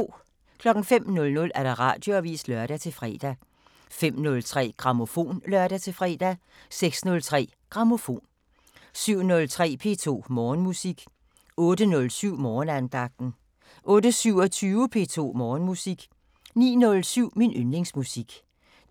05:00: Radioavisen (lør-fre) 05:03: Grammofon (lør-fre) 06:03: Grammofon 07:03: P2 Morgenmusik 08:07: Morgenandagten 08:27: P2 Morgenmusik 09:07: Min yndlingsmusik